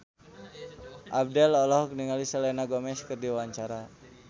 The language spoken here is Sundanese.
Abdel olohok ningali Selena Gomez keur diwawancara